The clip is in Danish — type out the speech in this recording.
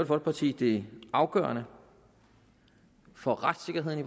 folkeparti det afgørende for retssikkerheden i